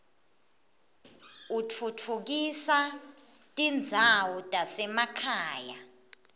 utfutfukisa tindzawo tasemakhaya